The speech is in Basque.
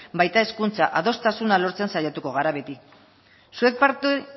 baita hezkuntza adostasuna lortzen saiatuko gara beti zuek parte